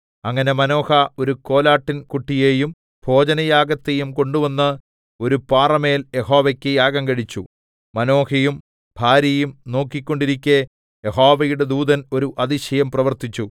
അങ്ങനെ മാനോഹ ഒരു കോലാട്ടിൻകുട്ടിയെയും ഭോജനയാഗത്തെയും കൊണ്ടുവന്ന് ഒരു പാറമേൽ യഹോവയ്ക്ക് യാഗം കഴിച്ചു മാനോഹയും ഭാര്യയും നോക്കിക്കൊണ്ടിരിക്കെ യഹോവയുടെ ദൂതൻ ഒരു അതിശയം പ്രവർത്തിച്ചു